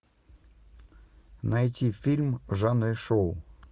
найти фильм в жанре шоу